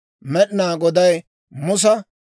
Med'inaa Goday Musa,